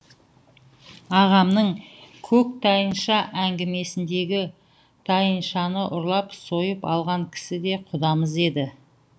ағамның көк тайынша әңгімесіндегі тайыншаны ұрлап сойып алған кісі де құдамыз еді